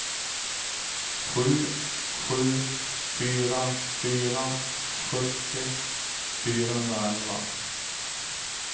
sju sju fyra fyra sjuttio fyrahundraelva